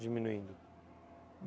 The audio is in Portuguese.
Diminuindo?